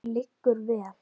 Hann liggur vel.